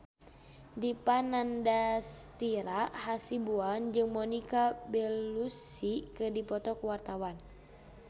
Dipa Nandastyra Hasibuan jeung Monica Belluci keur dipoto ku wartawan